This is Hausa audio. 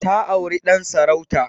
Ta auri Dan sarauta.